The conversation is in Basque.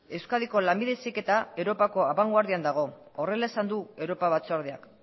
euskadiko lanbide heziketa europako abangoardian dago horrela esan du europa batzordeak